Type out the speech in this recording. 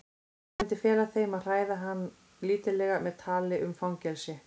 Hann myndi fela þeim að hræða hann lítillega með tali um fangelsi.